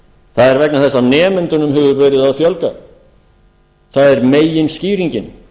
það er vegna þess að nemendunum hefur verið að fjölga það er meginskýringin